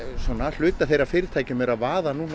hluti af þeirra fyrirtækjum er að vaða